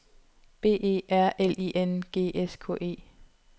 B E R L I N G S K E